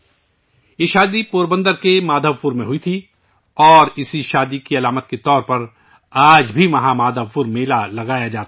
یہ شادی پوربندر کے مادھو پور میں ہوئی تھی اور اسی شادی کی علامت کے طور پر آج بھی وہاں مادھو پور میلہ لگتا ہے